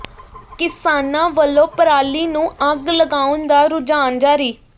ਕਿਸਾਨਾਂ ਵਲੋਂ ਪਰਾਲੀ ਨੂੰ ਅੱਗ ਲਗਾਉਣ ਦਾ ਰੁਝਾਨ ਜਾਰੀ